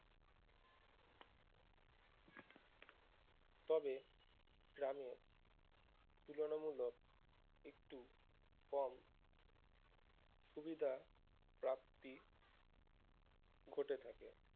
তবে গ্রামের তুলনামূলক একটু কম সুবিধা প্রাপ্তি ঘটে থাকে